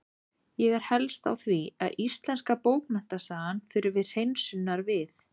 Ég er helst á því að íslenska bókmenntasagan þurfi hreinsunar við.